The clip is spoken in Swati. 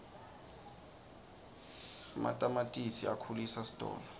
ematamatisi akhulisa sitolo